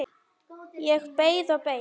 Ég beið og beið.